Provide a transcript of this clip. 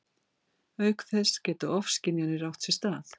Auk þess geta ofskynjanir átt sér stað.